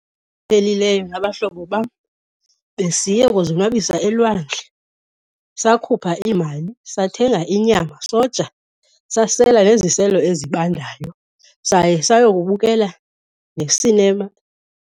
Iphelileyo nabahlobo bam besiye kuzonwabisa elwandle, sakhupha iimali sathenga inyama soja, sasela neziselo ezibandayo, saye sayokubukela nesinema.